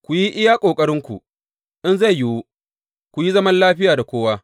Ku yi iya ƙoƙarinku, in zai yiwu, ku yi zaman lafiya da kowa.